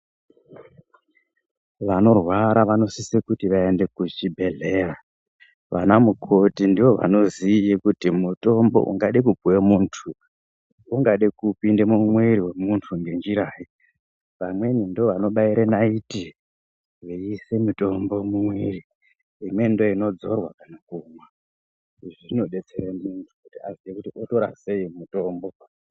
Vanorwara vanosise kuti vayende kuchibhedhlera. Vanamukoti ndiwo vanoziya kuti mutombo ungade kupiwa munthu, ungade kupinde mumwiri wemunthu ngenjirayi. Vamweni ndovanobayire nayithi, veyise mutombo mwiri. Imweni ndoyinodzorwa kana kumwa. Izvi zvinodetsere muntu kuti aziye kuti totora seyi iyi mitombo.